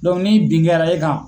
ni bin kɛra e kan